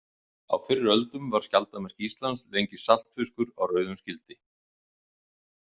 Á fyrri öldum var skjaldarmerki Íslands lengi saltfiskur á rauðum skildi.